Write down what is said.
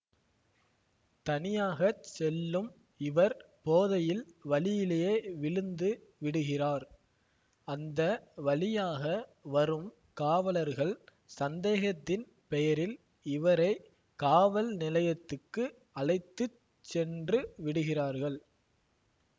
தனியாக செல்லும் இவர் போதையில் வழியிலே விழுந்து விடுகிறார் அந்த வழியாக வரும் காவலர்கள் சந்தேகத்தின் பெயரில் இவரை காவல் நிலையத்துக்கு அழைத்து சென்று விடுகிறார்கள்